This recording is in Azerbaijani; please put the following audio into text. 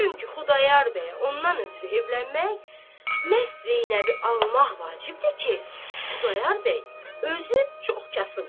Çünki Xudayar bəyə ondan ötrü evlənmək məhz Zeynəbi almaq vacibdir ki, Xudayar bəy özü çox kasıbdır.